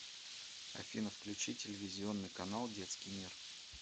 афина включи телевизионный канал детский мир